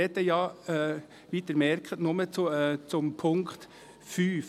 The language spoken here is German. Ich spreche, wie sie merken, nur zum Punkt 5.